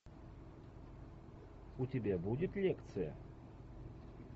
у тебя будет лекция